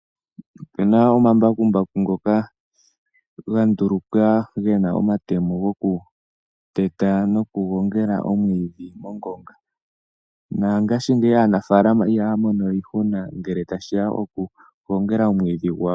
Opena omambakumbaku ngoka ga ndulukwa gena omatemo go kuteta noku gongela omwiidhi mongonga. Na ngaashingeyi aanafaalama ihaa mono we iihuna ngele tashi ya koku gongela omwiidhi gwawo.